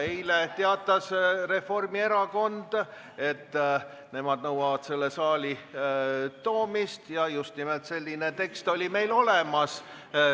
Eile teatas Reformierakond, et nemad nõuavad ettepaneku saali toomist, ja just nimelt selline tekst oli meil olemas.